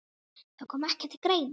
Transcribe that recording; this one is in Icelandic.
Það kom ekki til greina.